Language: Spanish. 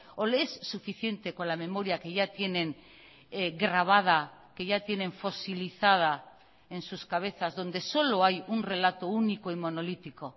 o le es suficiente con la memoria que ya tienen grabada que ya tienen fosilizada en sus cabezas donde solo hay un relato único y monolítico